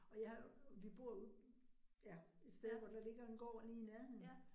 Og jeg har, vi bor ude ja, et sted, hvor der ligger en gård lige i nærheden